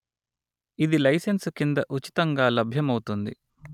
ఇది లైసెన్సు కింద ఉచితంగా లభ్యమౌతుంది